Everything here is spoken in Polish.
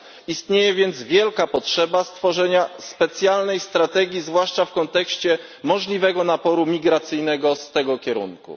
Istnieje więc wielka potrzeba stworzenia specjalnej strategii zwłaszcza w kontekście możliwego naporu migracyjnego z tego kierunku.